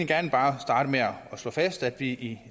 gerne bare starte med at slå fast at vi i